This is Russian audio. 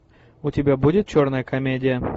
у тебя будет черная комедия